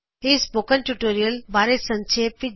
ਇਹ spoken tutorial ਬਾਰੇ ਸੰਖੇਪ ਵਿੱਚ ਦਸਦਾ ਹੈ